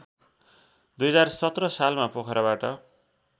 २०१७ सालमा पोखराबाट